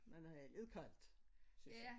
Men øh lidt koldt synes jeg